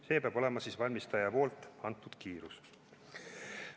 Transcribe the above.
See peab olema siis valmistaja antud kiirus.